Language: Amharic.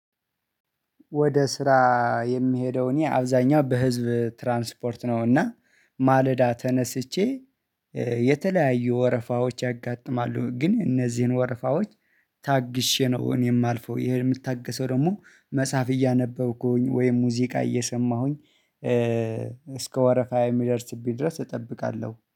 ወደ ስራ የሚሄደው እኔ አብዛኛው በህዝብ ትራንስፖርት ነው። እና ማለዳ ተነስቼ፤ የተለያዩ ወረፋዎች ያጋጥማሉ ግን እነዚህን ወረፋዎች ታግሼ ነው እኔ የማልፈው። ይሄን የምታገሰው ደግሞ መጻፍ እያነበብኩኝ፤ ወይም ሙዚቃ እየሰማሁኝ እስከ ወረፋዬ የሚደርስብኝ ድረስ እጠብቃለሁ።